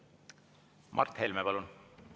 Mart Helme, palun!